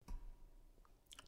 DR P2